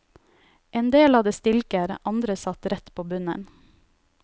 En del hadde stilker, andre satt rett på bunnen.